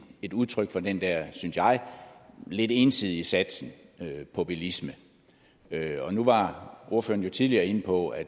et udtryk for den der synes jeg lidt ensidige satsning på bilisme nu var ordføreren jo tidligere inde på at